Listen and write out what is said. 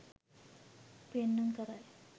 පෙන්නුම් කරයි